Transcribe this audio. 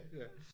Ja